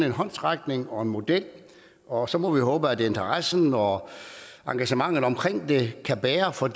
en håndsrækning og fundet en model og så må vi håbe at interessen og engagementet omkring det kan bære for